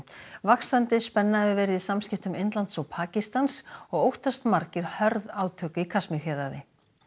vaxandi spenna hefur verið í samskiptum Indlands og Pakistans og óttast margir hörð átök í Kasmír héraði